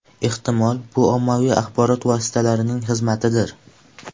Ehtimol, bu ommaviy axborot vositalarining xizmatidir.